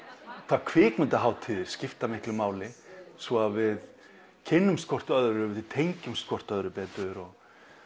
hvað kvikmyndahátíðir skipta miklu máli svo að við kynnumst hvort öðru og tengjumst hvort öðru betur og